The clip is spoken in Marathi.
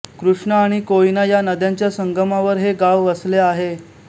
कृष्णा आणि कोयना या नद्यांच्या संगमावर हे गाव वसले आहे